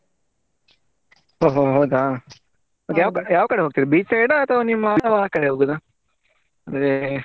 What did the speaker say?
ಓ ಹೋ ಹೌದಾ ಯಾವ್ ಕಡೆ ಯಾವ್ ಕಡೆ ಹೋಗ್ತಿದ್ರಿ beach side ಆ ಅಥವಾ ನಿಮ್ಮ ಆ ಕಡೆ ಹೋಗುದಾ ಅಂದ್ರೆ